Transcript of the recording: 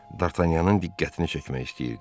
Dartanyanın diqqətini çəkmək istəyirdi.